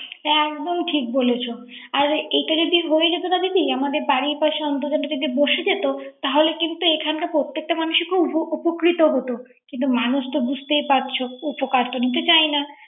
একদম ঠিক বলেছো। আর এইটা যদি হয়ে যেত না দিদি। আমাদের বাড়ির পাশে অর্ন্তজানটা যদি বসে যেত তাহলে কিন্তু এখানকার প্রত্যেকটা মানুষ উপকৃত হতো। কিন্ত মানুষ তো বুঝতেই পারছো। উপকার তো নিতে চায়না